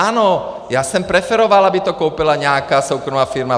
Ano, já jsem preferoval, aby to koupila nějaká soukromá firma.